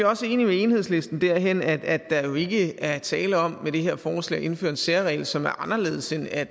også enige med enhedslisten derhen at der jo ikke er tale om med det her forslag at indføre en særregel som er anderledes end at